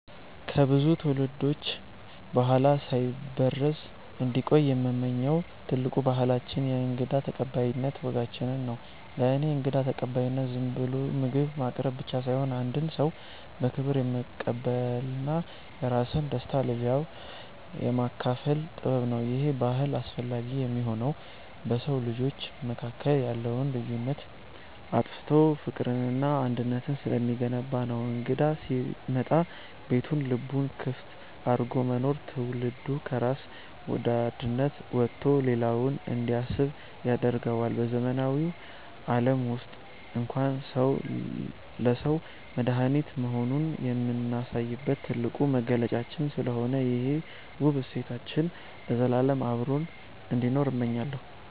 ከብዙ ትውልዶች በኋላ ሳይበረዝ እንዲቆይ የምመኘው ትልቁ ባህላችን የእንግዳ ተቀባይነት ወጋችንን ነው። ለእኔ እንግዳ ተቀባይነት ዝም ብሎ ምግብ ማቅረብ ብቻ ሳይሆን፣ አንድን ሰው በክብር የመቀበልና የራስን ደስታ ለሌላው የማካፈል ጥበብ ነው። ይሄ ባህል አስፈላጊ የሚሆነው በሰው ልጆች መካከል ያለውን ልዩነት አጥፍቶ ፍቅርንና አንድነትን ስለሚገነባ ነው። እንግዳ ሲመጣ ቤቱንም ልቡንም ክፍት አድርጎ መኖር፣ ትውልዱ ከራስ ወዳድነት ወጥቶ ለሌላው እንዲያስብ ያደርገዋል። በዘመናዊው ዓለም ውስጥ እንኳን ሰው ለሰው መድኃኒት መሆኑን የምናሳይበት ትልቁ መገለጫችን ስለሆነ፣ ይሄ ውብ እሴታችን ለዘላለም አብሮን እንዲኖር እመኛለሁ።